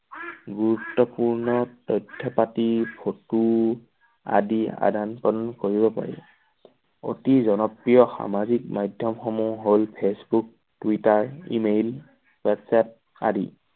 গুৰুত্বপূৰ্ণ তথ্য পাতি photo আদি আদান প্ৰদান কৰিব পাৰি। অতি জনপ্ৰিয় সামাজিক মাধ্যম সমূহ হ'ল- Facebook, Twitter, email, WhatsApp আদি।